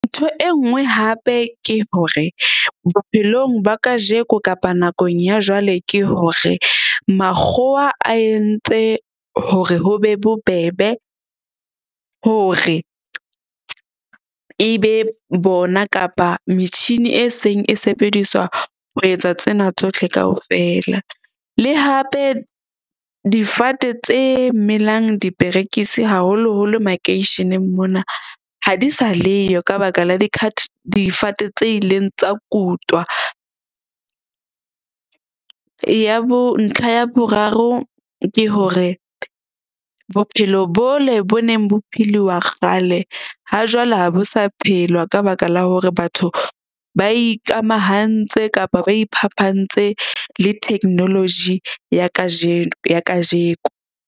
Ntho e nngwe hape ke hore bophelong ba kajeko kapa nakong ya jwale ke hore makgowa a entse hore ho be bobebe, hore e be bona kapa metjhini e seng e sebediswa ho etsa tsena tsohle kaofela. Le hape difate tse melang diperekisi, haholoholo makeisheneng mona ha di sa leyo ka baka la difate tse ileng tsa kutwa. Ya bo ntlha ya boraro ke hore bophelo bole bo neng bo philiwa kgale ha jwale ha bo sa phelwa ka baka la hore batho ba ikamahantse kapa ba iphapantse le technology ya kajeno ya kajeko.